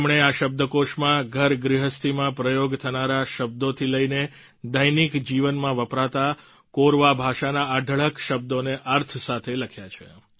તેમણે આ શબ્દકોષમાં ઘરગૃહસ્થીમાં પ્રયોગ થનારા શબ્દોથી લઈને દૈનિક જીવનમાં વપરાતા કોરવા ભાષાના અઢળક શબ્દોને અર્થ સાથે લખ્યા છે